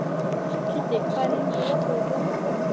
Kiddi, hvað er lengi opið í Blómaborg?